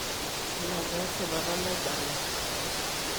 ina taa esipata naibala